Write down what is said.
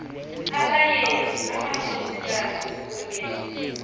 abayeni amakhosikazi kunye